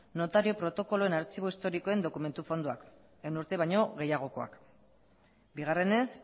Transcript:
notario protokoloen artxibo historikoen dokumentu fondoa ehun urte baino gehiagokoak bigarrenez